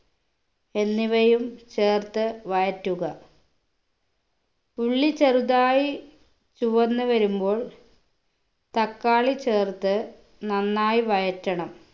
എന്നിവയും ചേർത്ത് വഴറ്റുക ഉള്ളി ചെറുതായി ചുവന്ന് വരുമ്പോൾ തക്കാളി ചേർത്ത് നന്നായി വഴറ്റണം